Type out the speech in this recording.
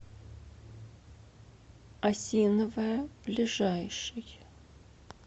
осиновая ближайший